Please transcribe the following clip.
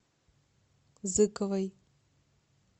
зыковой